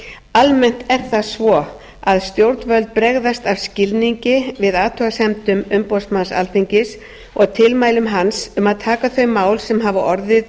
almennt er það svo að stjórnvöld bregðast af skilningi við athugasemdum umboðsmanns alþingis og tilmælum hans um að taka þau mál sem hafa orðið